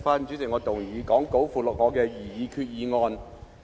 主席，我動議載列於講稿附錄的擬議決議案。